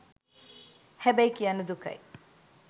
හැබැයි කියන්න දුකයි